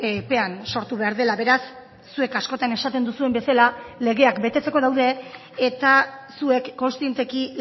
epean sortu behar dela beraz zuek askotan esaten duzuen bezala legeak betetzeko daude eta zuek kontzienteki